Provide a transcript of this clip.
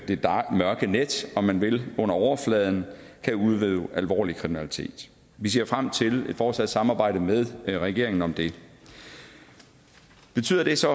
mørke net om man vil under overfladen kan udøve alvorlig kriminalitet vi ser frem til et fortsat samarbejde med regeringen om det betyder det så